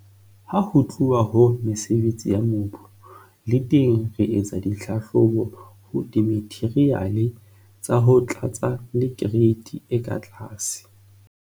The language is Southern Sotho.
Ha ho tluwa ho mesebetsi ya mobu, le teng re etsa dihlahlobo ho dimatheriale tsa ho tlatsa le kereiti e ka tlase.